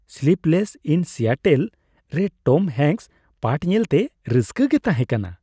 " Sleepless in Seattle" ᱼᱨᱮ Tom Hanks ᱯᱟᱴᱷ ᱧᱮᱞᱛᱮ ᱨᱟᱹᱥᱠᱟᱹ ᱜᱮ ᱛᱟᱦᱮᱸ ᱠᱟᱱᱟ ᱾